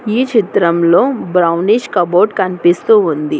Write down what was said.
ఈ చిత్రంలో భువనిష్ కబోర్డ్ కనిపిస్తూ ఉంది.